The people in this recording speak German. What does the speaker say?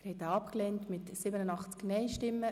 Sie haben den Antrag abgelehnt.